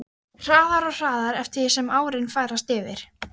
Hraðar og hraðar eftir því sem árin færast yfir.